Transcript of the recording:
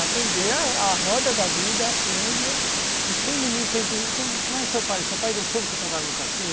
Aprender a roda da vida, aprende... E sendo humilde, como é que o seu pai... O seu pai deixou você trabalhar no cassino?